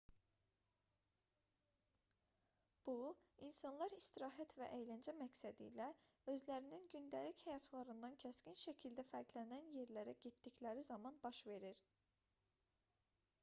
bu insanlar istirahət və əyləncə məqsədilə özlərinin gündəlik həyatlarından kəskin şəkildə fərqlənən yerlərə getdikləri zaman baş verir